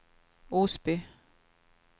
Osby